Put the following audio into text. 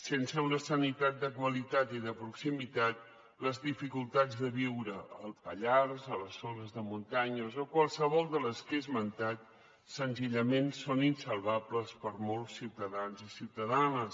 sense una sanitat de qualitat i de proximitat les dificultats de viure al pallars a les zones de muntanya o a qualsevol de les que he esmentat senzillament són insalvables per a molts ciutadans i ciutadanes